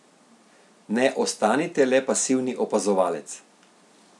Ne ostanite le pasivni opazovalec!